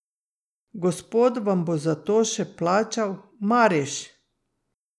Gospod vam bo za to še plačal, Mariš!